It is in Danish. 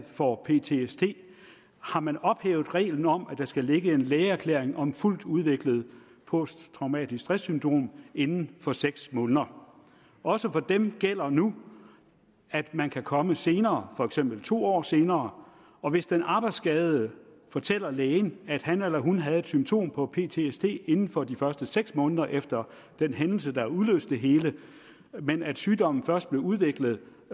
får ptsd har man ophævet reglen om at der skal ligge en lægeerklæring om fuldt udviklet posttraumatisk stresssyndrom inden for seks måneder også for dem gælder nu at man kan komme senere for eksempel to år senere og hvis den arbejdsskadede fortæller lægen at han eller hun havde et symptom på ptsd inden for de første seks måneder efter den hændelse der udløste det hele men at sygdommen først udviklede